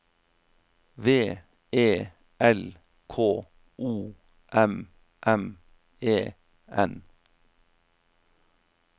V E L K O M M E N